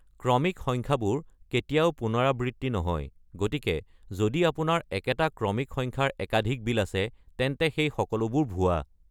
ক্ৰমিক সংখ্যাবোৰ কেতিয়াও পুনৰাবৃত্তি নহয়, গতিকে যদি আপোনাৰ একেটা ক্ৰমিক সংখ্যাৰ একাধিক বিল আছে, তেন্তে সেই সকলোবোৰ ভুৱা।